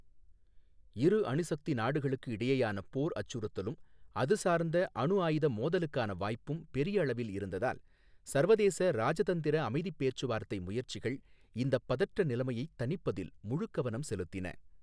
இரு அணுசக்தி நாடுகளுக்கு இடையேயான போர் அச்சுறுத்தலும் அதுசார்ந்த அணுஆயுத மோதலுக்கான வாய்ப்பும் பெரியளவில் இருந்ததால், சர்வதேச ராஜதந்திர அமைதிப் பேச்சுவார்த்தை முயற்சிகள் இந்தப் பதற்ற நிலைமையைத் தணிப்பதில் முழுக்கவனம் செலுத்தின.